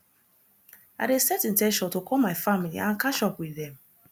i dey set in ten tion to call my family and catch up with dem